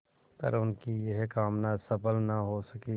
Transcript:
पर उनकी यह कामना सफल न हो सकी